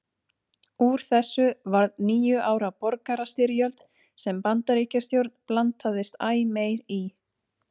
Úr þessu varð níu ára borgarastyrjöld sem Bandaríkjastjórn blandaðist æ meir í.